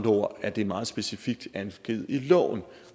ord er det meget specifikt angivet i loven